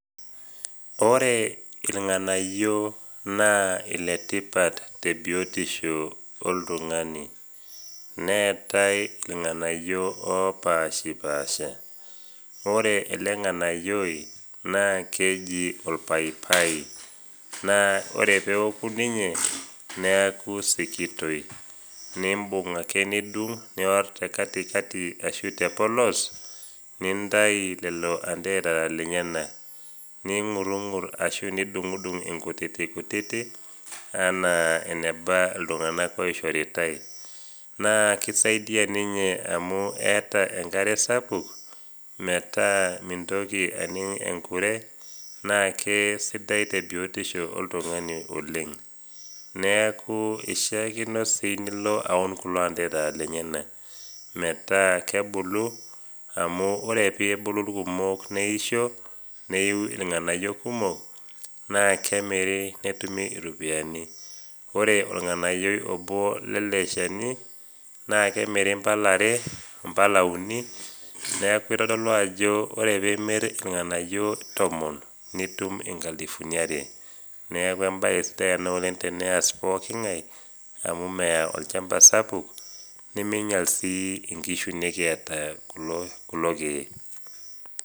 Ore ilng'anayio naa iletipat tebiotisho oltung'ani. Neatai ilng'anayio opaashipaasha. Ore ele ng'anayioi naa keji olpaipai, naa ore pee eoku ninye, neaku sikitoi. Nimbung ake nidung', nior tekatikati ashu tepolos nintai lelo anterera lenyena. Ning'urung'ur ashu nidung inkutiti kutiti anaa eneba iltung'ana oishoritai. Naa keisaidia ninye amu keata enkare sapuk metaa metaa mintoki aning enkure, naa sidai tebiotisho oltung'ani oleng. Neaku eishaakino sii nilo aun kulo anterera lenyena, metaa kebulu amu ore pee ebulu ilkumok neisho, neiu ilng'anayio kumok naa kemiri netumi iropiani. Ore ilnganayio lele shani naa kemiri impala are, impala uni, neaku eitodolu ajo ore pee imir ilng'anayio tomon, nitum inkalifuni are. Neaku embae sidai ena oleng teneas pooking'ai amu mea olchamba sapuk, nemeinyal sii inkishu kiata kulo keek.